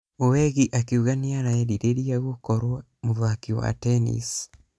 Owegi akĩuga nĩarerireria gũkorwo mũthaki wa tennis......